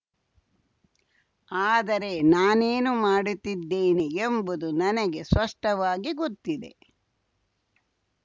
ಆದರೆ ನಾನೇನು ಮಾಡುತ್ತಿದ್ದೇನೆ ಎಂಬುದು ನನಗೆ ಸ್ಪಷ್ಟವಾಗಿ ಗೊತ್ತಿದೆ